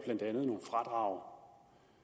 blandt andet nogle fradrag